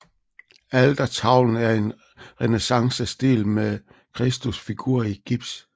Altertavlen er i renæssancestil med Kristusfigur i gips